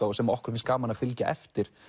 og sem okkur finnst gaman að fylgja eftir